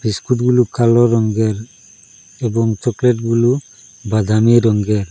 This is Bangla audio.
বিস্কুটগুলু কালো রঙ্গের এবং চকলেটগুলু বাদামী রঙ্গের ।